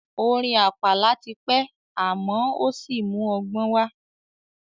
Orin àpàlà ti pẹ́ àmọ́ ò sí mú ọgbọ́n wá.